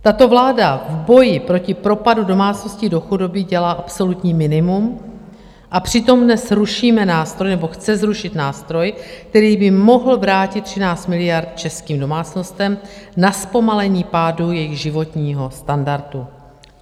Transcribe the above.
Tato vláda v boji proti propadu domácností do chudoby dělá absolutní minimum, a přitom dnes rušíme nástroj - nebo chce zrušit nástroj - který by mohl vrátit 13 miliard českým domácnostem na zpomalení pádu jejich životního standardu.